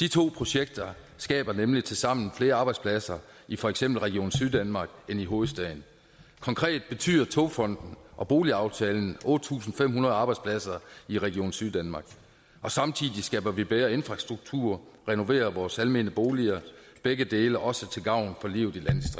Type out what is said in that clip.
de to projekter skaber nemlig tilsammen flere arbejdspladser i for eksempel region syddanmark end i hovedstaden konkret betyder togfonden og boligaftalen otte tusind fem hundrede arbejdspladser i region syddanmark og samtidig skaber vi bedre infrastruktur og renoverer vores almene boliger begge dele er også til gavn for livet